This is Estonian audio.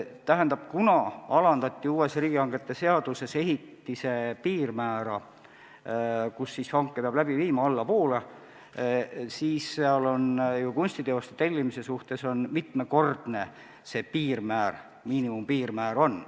Tähendab, uues riigihangete seaduses alandati ehitise maksumuse piirmäära, mille korral hanke peab läbi viima, ja kunstiteoste tellimise kohta on sealt sätestatud, mitmekordne see piirmäär, miinimumpiirmäär, peab olema.